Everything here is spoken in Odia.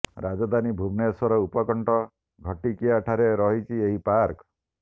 ରାଜଧାନୀ ଭୁବନେଶ୍ବର ଉପକଣ୍ଠ ଘଟିକିଆ ଠାରେ ରହିଛି ଏହି ପାର୍କ